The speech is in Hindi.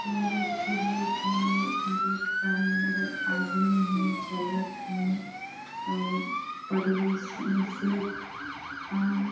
एमेर एक ठी गेट हे गेट का अंदर आदमी हे चलत हे प्रवेश निषेध आम --